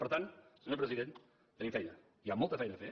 per tant senyor president tenim feina hi ha molta feina a fer